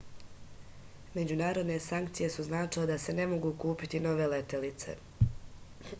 međunarodne sankcije su značile da se ne mogu kupiti nove letelice